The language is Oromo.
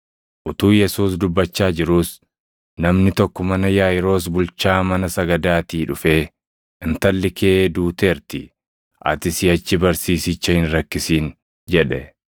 Utuu Yesuus dubbachaa jiruus namni tokko mana Yaaʼiiroos bulchaa mana sagadaatii dhufee, “Intalli kee duuteerti; ati siʼachi barsiisicha hin rakkisin” jedhe.